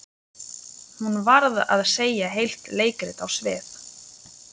Hún varð að setja heilt leikrit á svið.